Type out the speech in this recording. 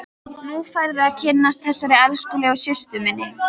Nú færðu að kynnast þessari elskulegu systur minni!